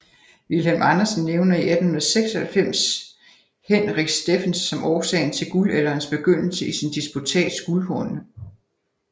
Vilhelm Andersen nævner i 1896 Henrich Steffens som årsagen til Guldalderens begyndelse i sin disputats Guldhornene